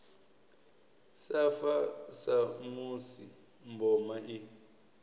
sa fa samusi mboma i